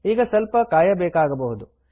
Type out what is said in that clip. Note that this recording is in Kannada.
ಈಗ ಸ್ವಲ್ಪ ಕಾಯಬೇಕಾಗಬಹುದು